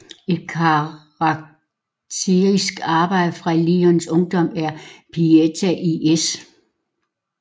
Et karakteristisk arbejde fra Luinis ungdom er Pieta i S